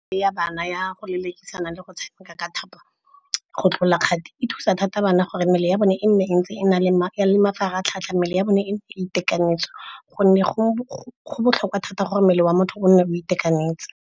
Ya bana ya go lelekisana le go tshameka ka thapo, go tlola kgati. E thusa thata bana gore mmele ya bone e nne e ntse e le , mmele ya bone e nne e itekanetse ka gonne go botlhokwa thata gore mmele wa motho o nne o itekanetse.